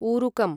उरुकम्